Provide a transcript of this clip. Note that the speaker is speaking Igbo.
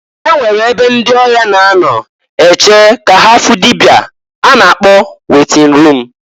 E nwere ebe ndị ọya na-anọ eche ka ha fụ dịbịa a na-akọ wetin rum.